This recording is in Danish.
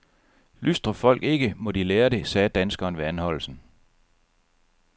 Lystrer folk ikke, må de lære det, sagde danskeren ved anholdelsen.